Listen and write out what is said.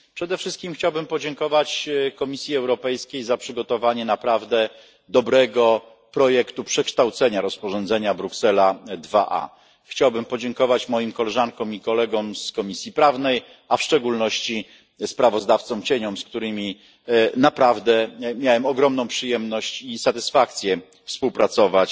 Przede wszystkim chciałbym podziękować Komisji Europejskiej za przygotowanie naprawdę dobrego projektu przekształcenia rozporządzenia Bruksela II bis. Chciałbym podziękować moim koleżankom i kolegom z Komisji Prawnej, a w szczególności kontrsprawozdawcom, z którymi naprawdę miałem ogromną przyjemność i satysfakcję współpracować